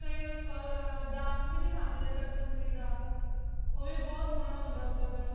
ਅਹ ਅਹ dance ਵੀ ਦਿਖਾਂਦੇ ਨੇ ਕਠਪੁਤਲੀ ਦਾ ਓ ਵੀ ਬਹੁਤ ਸੋਹਨਾ ਹੁੰਦਾ ਓਧਰ ਦਾ